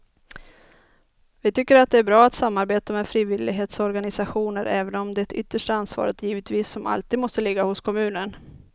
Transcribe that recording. Vi tycker att det är bra att samarbeta med frivillighetsorganisationer även om det yttersta ansvaret givetvis som alltid måste ligga hos kommunen.